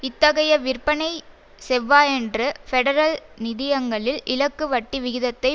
இத்தகைய விற்பனை செவ்வாயன்று பெடரல் நிதியங்களில் இலக்கு வட்டி விகிதத்தை